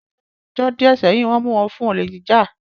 Ní ọjọ́ díẹ̀ sẹ́yìn, Wọ́n mu wọn fún olè jíjà